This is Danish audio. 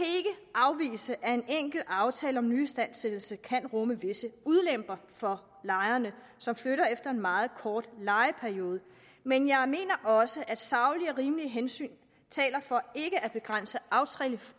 afvise at en enkelt aftale om nyistandsættelse kan rumme visse ulemper for lejere som flytter efter en meget kort lejeperiode men jeg mener også at saglige og rimelige hensyn taler for ikke at begrænse